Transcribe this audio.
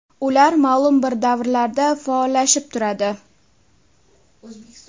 Ular ma’lum bir davrlarda faollashib turadi.